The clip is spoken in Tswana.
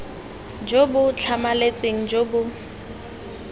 jo bo tlhamaletseng jo bo